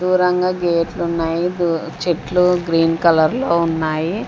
దూరంగా గేట్లున్నాయి చెట్లు గ్రీన్ కలర్ లో ఉన్నాయి.